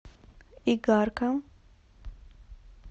игарка